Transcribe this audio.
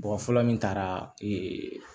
Mɔgɔ fɔlɔ min taara